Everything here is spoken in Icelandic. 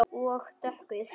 Og dökkur.